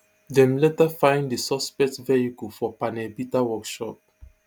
dem later find di suspects vehicle for panel beater workshop